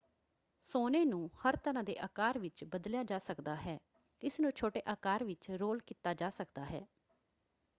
ਸੋਨੇ ਨੂੰ ਹਰ ਤਰ੍ਰਾਂ ਦੇ ਆਕਾਰ ਵਿੱਚ ਬਦਲਿਆ ਜਾ ਸਕਦਾ ਹੈ। ਇਸਨੂੰ ਛੋਟੇ ਆਕਾਰ ਵਿੱਚ ਰੋਲ ਕੀਤਾ ਜਾ ਸਕਦਾ ਹੈ।